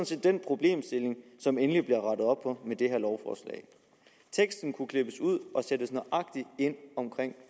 set den problemstilling som endelig bliver rettet op med det her lovforslag teksten kunne klippes ud og sættes nøjagtig ind omkring